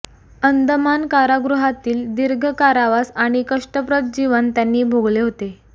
अंदमान कारागृहातील दीर्घ कारावास आणि कष्टप्रद जीवन त्यांनी भोगले होते